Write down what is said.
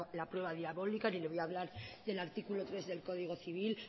la prueba diabólica ni le voy a hablar del artículo tres del código civil